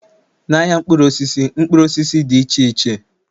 Na-ahịa mkpụrụ osisi, enwere mkpụrụ osisi dị iche iche